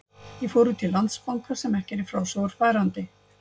Ég fór út í Landsbanka, sem ekki er í frásögur færandi.